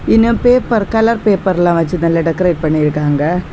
இன்ன paper colour பேப்பர்லாம் வெச்சு டெக்கரேட் பண்ணிருக்காங்க.